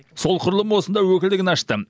сол құрылым осында өкілдігін ашты